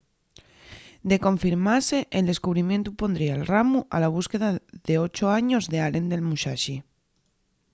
de confirmase el descubrimientu pondría'l ramu a la busca d'ocho años d'allen del musashi